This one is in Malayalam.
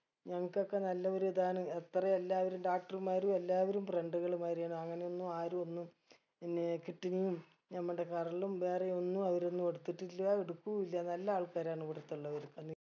ഞങ്ങക്കൊക്കെ നല്ലൊരു ഇതാണ് എത്ര എല്ലാവരും doctor മാരും എല്ലാവരും friend കൾ മാതിരി ആണ് അങ്ങനെയൊന്നും ആരും ഒന്നും പിന്നെ kidney ഉം നമ്മടെ കരളും വേറെ ഒന്നും അവര് ഒന്നും എടുത്തിട്ടില്ല എടുക്കൂ ഇല്ല നല്ല ആൾക്കാരാണ് ഇവിടത്തെ ഉള്ളവർ